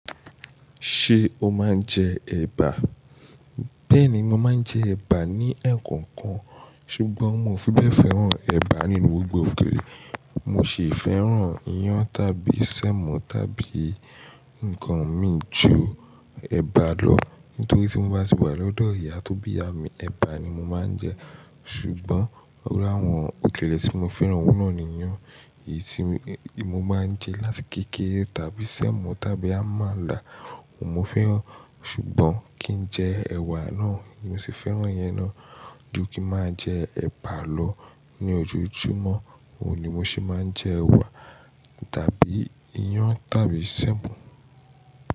Ṣé o máa ń jẹ ẹ̀bà? Bẹ́ẹ̀ni, mo máa ń jẹ ẹ̀bà ní ẹ̀ẹ̀kọ̀kan, ṣùgbọ́n mo ò fi bẹ́ẹ̀ fẹ́ràn ẹ̀bà ní gbogbo òkèlè. Mo sì fẹ́ràn iyán tàbí sẹ̀mọ tàbí nǹkan mi ju ẹ̀bà lọ. Nítorí tí mo bá tì wà lọ́dọ̀ ìyá tó bí iyà mi, ẹ̀bà ni mo máa ń jẹ. Ṣùgbọ́n o láwọn òkèlè tí mo fẹ́ràn oun náà ni iyán, èyí tí mo máa ń jẹ láti keke tàbí sẹ̀mọ tàbí amala. Mo fẹ́ràn, ṣùgbọ́n kí n jẹ ẹ̀wà náà, mo sì fẹ́ràn iyen náà ju kí máa jẹ ẹ̀bà lọ. Ni ojoojúmọ́, òun ni mo sì máa ń jẹ, ẹ̀wà tàbí iyán tàbí sẹ̀mọ.